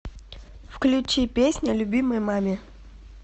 включи песня любимой маме